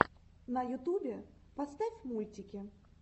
на ютубе поставь мультики